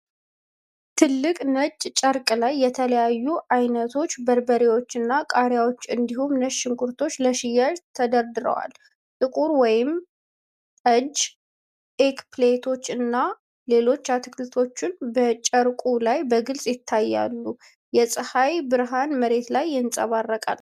ትልቅ ነጭ ጨርቅ ላይ የተለያዩ አይነቶች በርበሬዎችና ቃሪያዎች እንዲሁም ነጭ ሽንኩርቶች ለሽያጭ ተደርድረዋል። ጥቁር ወይን ጠጅ ኤግፕላንቶች እና ሌሎች አትክልቶች በጨርቁ ላይ በግልጽ ይታያሉ። የፀሃይ ብርሃን መሬት ላይ ይንፀባረቃል።